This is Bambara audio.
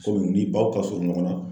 Kɔmi ni baw ka surun ɲɔgɔn na.